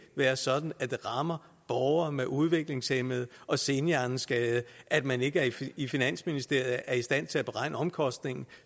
være sådan at det rammer borgere med udviklingshæmning og senhjerneskadede at man ikke i finansministeriet er i stand til at beregne omkostningen